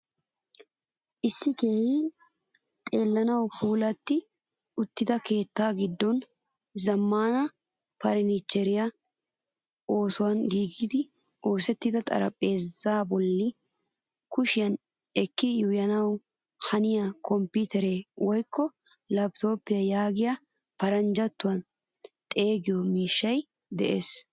Issi keehin xeelanawu puulati uttida keetta giddon zamaana furnichchere oosuwaan giigi oosettida xaraphpheezza bollan kushiyan eki yuuyanawu haniya kompitere woykko laptopiya yaagidi paranjjattuwaan xeegiyo miishshay de.ees.